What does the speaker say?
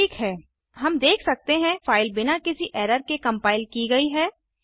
ठीक है हम देख सकते हैं फ़ाइल बिना किसी एरर के कम्पाइल की गई है